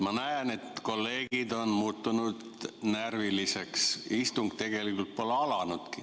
Ma näen, et kolleegid on muutunud närviliseks, kuigi istung pole tegelikult veel alanudki.